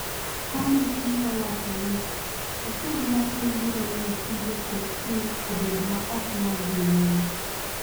Komiti nowacho ni "osuru matin biro miyo tije KQ obed ma ok nyal dhi nyime. "